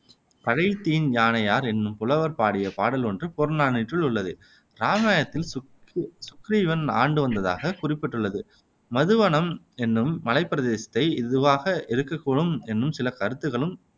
கழைதின் யானையார் என்னும் புலவர் பாடிய பாடல் ஒன்று புறநானூற்றில் உள்ளது இராமாயணத்தில் சுக்ரீவன் ஆண்டு வந்ததாக குறிப்பிட்டுள்ளது மதுவனம் என்னும் மலைப் பிரதேசத்தை இதுவாக இருக்கக் கூடும் என்னும் சில கருத்துக்களும்